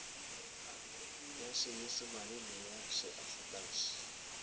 ya senyesemane le ya afrikanse